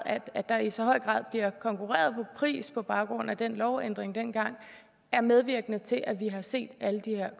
at der i så høj grad bliver konkurreret på pris på baggrund af den lovændring dengang er medvirkende til at vi har set alle de her